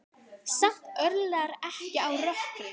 Samt örlar ekki á rökkri.